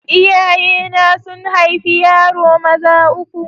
Iyayena sun haifi yaro maza uku.